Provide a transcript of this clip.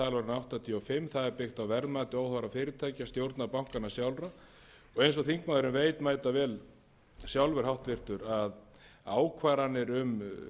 áttatíu og fimm það er byggt á verðmati óháðra fyrirtækja stjórna bankanna sjálfra og eins og þingmaðurinn veit mætavel sjálfur að ákvarðanir um